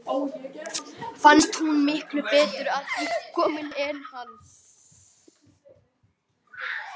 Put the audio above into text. Fannst hún miklu betur að því komin en hann.